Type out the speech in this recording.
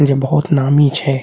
इजे बहुत नामी छे।